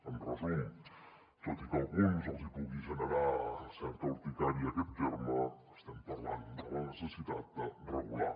en resum tot i que a alguns els hi pugui generar certa urticària aquest terme estem parlant de la necessitat de regular